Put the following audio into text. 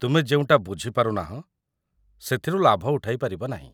ତୁମେ ଯେଉଁଟା ବୁଝିପାରୁନାହଁ ସେଥିରୁ ଲାଭ ଉଠାଇ ପାରିବ ନାହିଁ ।